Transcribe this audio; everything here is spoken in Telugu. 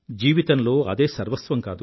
జీవితంలో అదే సర్వస్వం కాదు